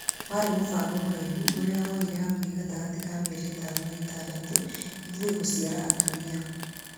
Warĩ mufango mũraihu ũrĩa woire hakuhĩ gatagati ka mĩeri ĩtano na ĩtandatu ithũi gũcaria atumia